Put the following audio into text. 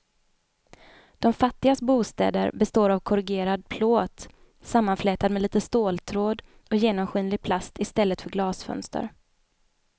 De fattigas bostäder består av korrugerad plåt sammanflätad med lite ståltråd och genomskinlig plast i stället för glasfönster.